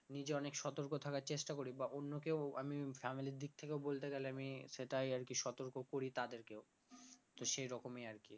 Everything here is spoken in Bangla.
নিজে অনেক সতর্ক থাকার চেষ্টা করি বা অন্য কেউ আমি family এর দিক থেকে ও বলতে গেলে আমি সেটাই আরকি সতর্ক করি তাদের কেও তো সেই রকমই আরকি